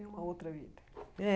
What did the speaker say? É uma outra vida. É